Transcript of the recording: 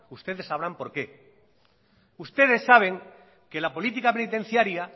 ustedes sabrán por qué ustedes saben que la política penitenciaria